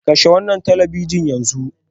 Kashe wannan talabijin yanzu.